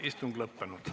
Istung lõppenud.